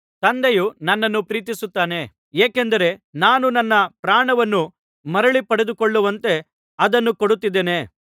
ತಂದೆಯು ನನ್ನನ್ನು ಪ್ರೀತಿಸುತ್ತಾನೆ ಏಕೆಂದರೆ ನಾನು ನನ್ನ ಪ್ರಾಣವನ್ನು ಮರಳಿ ಪಡೆದುಕೊಳ್ಳುವಂತೆ ಅದನ್ನು ಕೊಡುತ್ತಿದ್ದೇನೆ